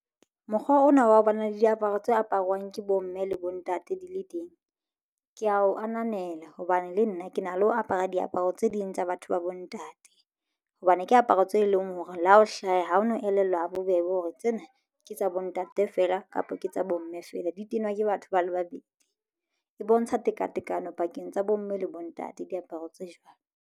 Mokgwa ona wa ho ba na le diaparo tse aparwang ke bomme le bontate di le teng. Ke ya o ananela hobane le nna ke na le ho apara diaparo tse ding tsa batho ba bontate hobane ke aparo tse lengwe hore le ha ho hlaha ha o no elellwa habobebe hore tsena ke tsa bo ntate feela kapa ke tsa bo mme feela di tenwa ke batho ba le babedi. E bontsha tekatekano pakeng tsa bomme le bontate diaparo tse jwalo.